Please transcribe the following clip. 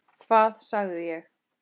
Hvað sagði ég?